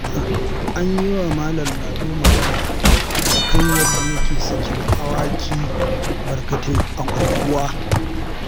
An yiwa Malam Lado magana a kan yadda yake sakin awakai barkatai a unguwa